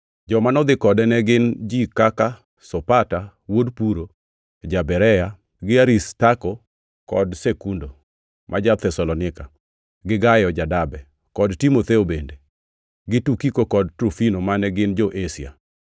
Joma nodhi kode ne gin ji kaka Sopata wuod Puro ja-Berea, gi Aristarko kod Sekundo, ma ja-Thesalonika, gi Gayo ja-Derbe, kod Timotheo bende, gi Tukiko kod Trofimo mane gin jo-Asia.